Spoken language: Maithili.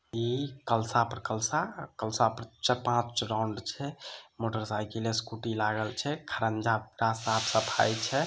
इ कलसा पर कलसा कलसा पर पञ्च राउंड छे मोटरसाइकिल स्कूटी लगल छे साफ सफाई छे।